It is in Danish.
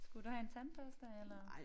Skulle du have en tandbørste eller?